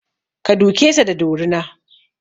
Ka duke sa da dorina!